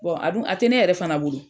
a dun a tɛ ne yɛrɛ fana bolo.